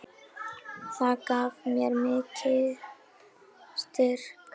Það gaf mér mikinn styrk.